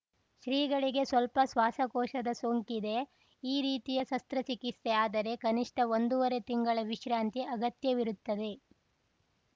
ಶ್ರೀಗಳಿಗೆ ಸ್ವಲ್ಪ ಶ್ವಾಸಕೋಶದ ಸೋಂಕಿದೆ ಈ ರೀತಿಯ ಶಸ್ತ್ರಚಿಕಿತ್ಸೆ ಆದರೆ ಕನಿಷ್ಠ ಒಂದೂವರೆ ತಿಂಗಳ ವಿಶ್ರಾಂತಿ ಅಗತ್ಯವಿರುತ್ತದೆ